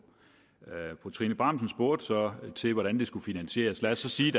fru trine bramsen spurgte så til hvordan det skulle finansieres lad os så sige